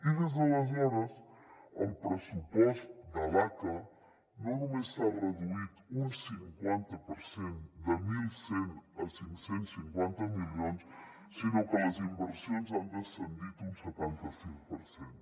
i des d’aleshores el pressupost de l’aca no només s’ha reduït un cinquanta per cent de mil cent a cinc cents i cinquanta milions sinó que les inversions han descendit un setanta cinc per cent